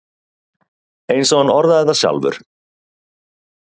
Eins og hann orðaði það sjálfur: